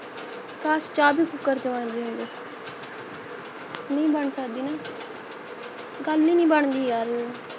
ਕਾਸ਼ ਚਾਹ ਭੀ ਕੂਕਰ ਚ ਬਣ ਜਾਣਦੀ ਨਹੀਂ ਬਣ ਸਕਦੀ ਨਾ ਗੱਲ ਹੀ ਨਹੀਂ ਬਣਦੀ ਯਾਰ